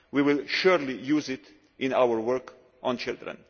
We will surely use it in our work on children.